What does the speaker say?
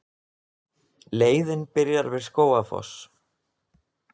Leiðin byrjar við Skógafoss.